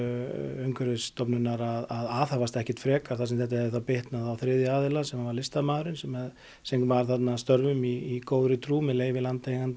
Umhverfisstofnunar að aðhafast ekki frekar þar sem þetta hefði þá bitnað á þriðja aðila sem var listamaðurinn sem sem var þarna að störfum í góðri trú með leyfi landeiganda